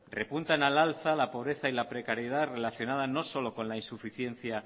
repuntan al alza la pobreza y la precariedad relacionada no solo con la insuficiencia